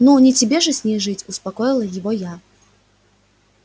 ну не тебе же с ней жить успокоила его я